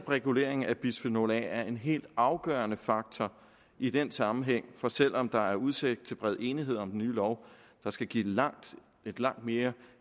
regulering af bisfenol a er en helt afgørende faktor i den sammenhæng for selv om der er udsigt til bred enighed om den nye lov der skal give et langt et langt mere